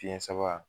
Fiɲɛ sama